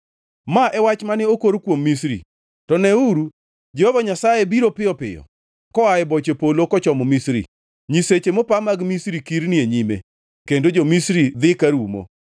Ma e wach mane okor kuom Misri: To neuru, Jehova Nyasaye biro piyo piyo koa e boche polo kochomo Misri. Nyiseche mopa mag Misri kirni e nyime kendo jo-Misri dhi ka rumo.